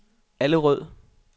Allerød